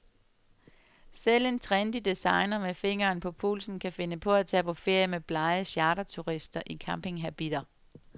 Selv en trendy designer med fingeren på pulsen kan finde på at tage på ferie med blege charterturister i campinghabitter.